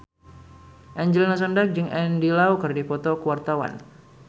Angelina Sondakh jeung Andy Lau keur dipoto ku wartawan